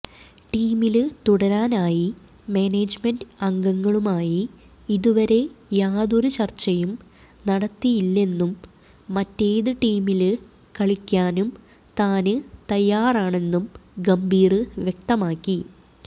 ടീമില് തുടരാനായി മാനേജ്മെന്റ് അംഗങ്ങളുമായി ഇതുവരെ യാതൊരു ചര്ച്ചയും നടത്തിയില്ലെന്നും മറ്റേത് ടീമില് കളിക്കാനും താന് തയ്യാറാണെന്നും ഗംഭീര് വ്യക്തമാക്കി